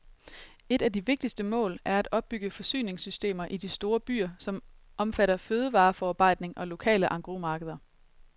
Et af de vigtigste mål er at opbygge forsyningssystemer i de store byer, som omfatter fødevareforarbejdning og lokale engrosmarkeder.